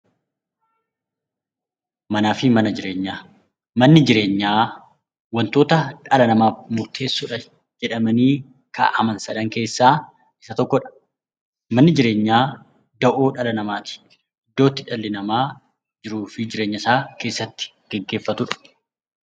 Manaafi mana jireenyaa, manni jireenyaa wantoota dhala namaaf murteessoo jedhamanii kaa'aman sadan keessaa isa tokkodha. Manni jireenyaa da'oo dhala namaati. Iddoo itti dhalli namaa jiruufi jireenyasaa itti gaggeeffatudha.